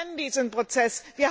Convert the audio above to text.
Wir kennen diesen Prozess.